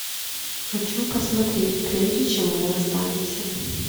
хочу посмотреть прежде чем мы расстанемся